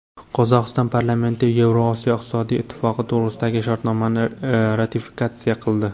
Qozog‘iston parlamenti Yevrosiyo iqtisodiy ittifoqi to‘g‘risidagi shartnomani ratifikatsiya qildi.